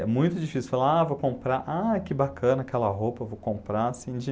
É muito difícil falar, ah, vou comprar, ah, que bacana aquela roupa, vou comprar, assim de